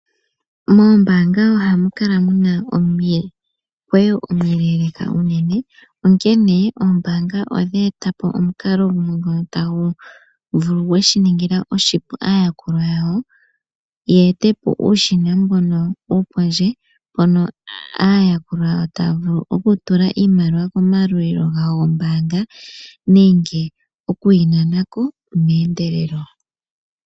Moombaanga ohamu kala muna omikweyo omiileeleka unene. Onkene oombaanga odhe etapo omukalo mono tagu vulu gweshiningila oshipu aayakulwa yawo ye etepo ushina mbono wopondje, mpono aayakulwa taya vulu okutula iimaliwa komayalulilo gawo gombaanga nenge okuyi nana ko meendelelo.